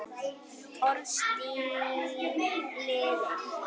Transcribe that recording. Orðstír lifir.